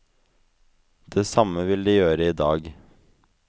Det samme vil de gjøre i dag.